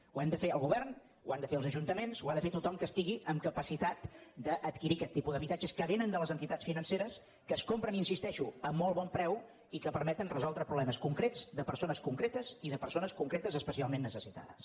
ho hem de fer el govern ho han de fer els ajuntaments ho ha de fer tothom que estigui amb capacitat d’adquirir aquest tipus d’habitatges que vénen de les entitats financeres que es compren hi insisteixo a molt bon preu i que permeten resoldre problemes concrets de persones concretes i de persones concretes especialment necessitades